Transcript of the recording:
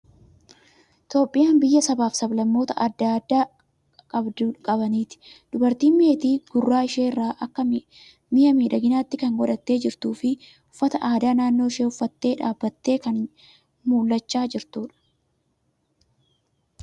Itoophiyaan biyya sabaa fi sab-lammoota aadaa adda addaa qabaniiti. Dubartiin meetii gurra ishee irraa akka mi'a miidhaginaatti kan godhattee jirtuu fi uffata aadaa naannoo ishee uffattee dhaabattee kan mul'achaa jirtudha.